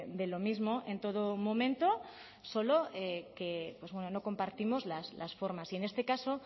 de lo mismo en todo momento solo que bueno no compartimos las formas y en este caso